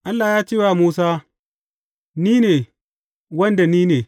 Allah ya ce wa Musa, NI NE wanda NINE.